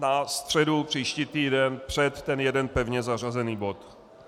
Na středu, příští týden, před ten jeden pevně zařazený bod.